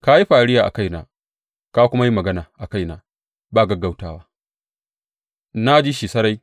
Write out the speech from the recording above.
Ka yi fariya a kaina, ka kuma yi magana a kaina ba gaggautawa, na ji shi sarai.